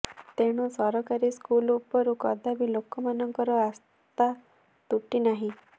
ତେଣୁ ସରକାରୀ ସ୍କୁଲ୍ ଉପରୁ କଦାପି ଲୋକମାନଙ୍କ ଆସ୍ଥା ତୁଟି ନାହିଁ